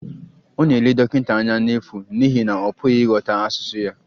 Ọ na-ele dọkịta anya n'efu n'ihi na ọ pụghị ịghọta asụsụ ya